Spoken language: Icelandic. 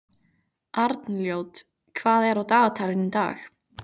Arnljót, hvað er á dagatalinu í dag?